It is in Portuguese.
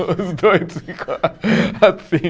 Os dois ficam assim.